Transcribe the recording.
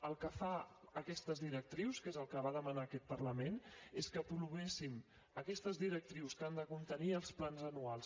el que fan aquestes directrius que és el que va demanar aquest parlament és que aprovéssim aquestes directrius que han de contenir els plans anuals